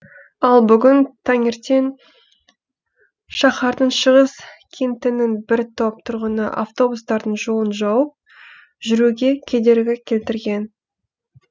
ал бүгін таңертең шаһардың шығыс кентінің бір топ тұрғыны автобустардың жолын жауып жүруге кедергі келтірген